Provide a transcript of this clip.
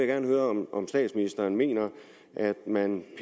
gerne høre om om statsministeren mener at man